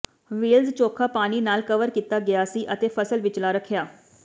Wells ਚੋਖਾ ਪਾਣੀ ਨਾਲ ਕਵਰ ਕੀਤਾ ਗਿਆ ਸੀ ਅਤੇ ਫਸਲ ਵਿਚਲਾ ਰੱਖਿਆ